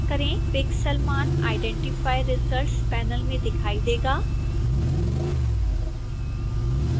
pixel मान identify results panel में दिखाई देगा